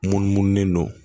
Munumunu